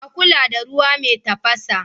A kula da ruwa mai tafasa.